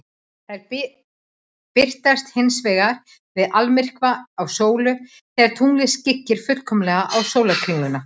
Þær birtast hins vegar við almyrkva á sólu, þegar tunglið skyggir fullkomlega á sólarkringluna.